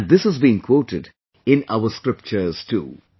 And this has been quoted in our scriptures too